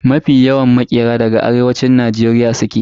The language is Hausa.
Mafi yawan masu sana'ar ƙira daga Arewacin Najeriya suke.